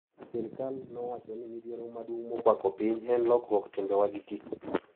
Sirkal nowacho ni midhiero maduong` mokwako piny en lokruok e timbewa gi kitwa.